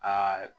Aa